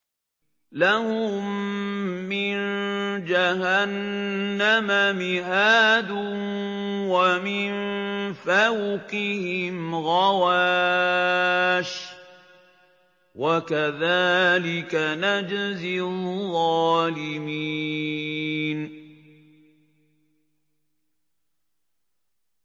لَهُم مِّن جَهَنَّمَ مِهَادٌ وَمِن فَوْقِهِمْ غَوَاشٍ ۚ وَكَذَٰلِكَ نَجْزِي الظَّالِمِينَ